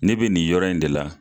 Ne be nin yɔrɔ in de la